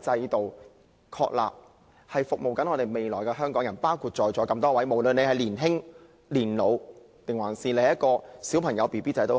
制度是為了服務未來的香港人，包括在座的每一位，也包括社會上不同人士，不論是嬰兒、小孩、年青人或長者。